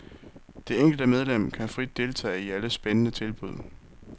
Det enkelte medlem kan frit deltage i alle spændende tilbud.